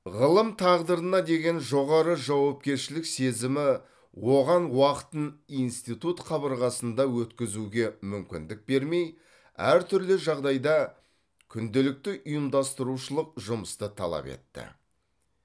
ғылым тағдырына деген жоғары жауапкершілік сезімі оған уақытын институт қабырғасында өткізуге мүмкіндік бермей әртүрлі жағдайда күнделікті ұйымдастырушылық жұмысты талап етті